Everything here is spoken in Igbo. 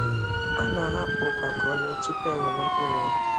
A nahapụ ụkwa ka o ree tupu ewere mkpụrụ ya.